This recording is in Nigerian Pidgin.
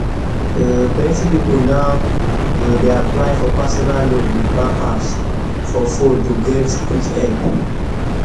um plenty people now um dey apply for personal loan with bank apps for fone to get quick help um